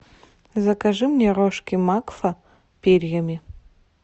закажи мне рожки макфа перьями